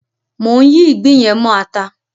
Mò ń yí ìgbín yẹn mọ ata.